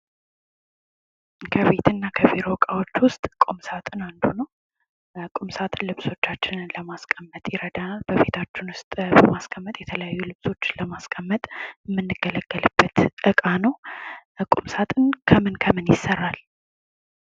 ከቤትና ከቢሮ እቃዎች ውስጥ ቁምሳጥን አንዱ ነው ቁምሳጥን ልብሶቻችንን ለማስቀመጥ ይረዳናል በቤታችን ውስጥ ለማስቀመጥ የተለያዩ ልብሶችን የምንገለገልበት እቃ ነው። ቁምሳጥን ከምን ከምን ይሰራል?